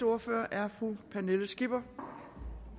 ordfører er fru pernille skipper